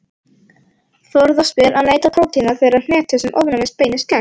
Forðast ber að neyta prótína þeirrar hnetu sem ofnæmið beinist gegn.